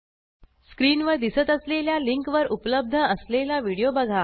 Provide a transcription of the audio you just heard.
स्क्रीनवर दिसत असलेल्या लिंकवर उपलब्ध असलेला व्हिडिओ बघा